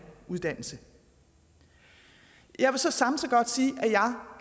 uddannelse jeg vil så samtidig godt sige at